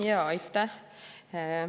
Aitäh!